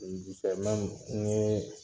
ɲugu n yee